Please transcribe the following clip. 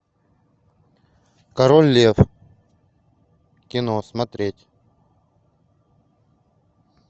король лев кино смотреть